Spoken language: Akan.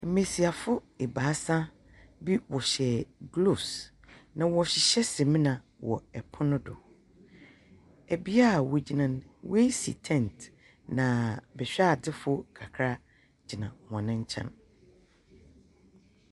Mbasiafo ɛbasa bi wɔhyɛ gloves na wɔhyehyɛ samina wɔ epo no do. Ɛbi a wɔagyina no wɔ asi tent na behwɛ ade fo no kakra gyina wɔ nkyɛn.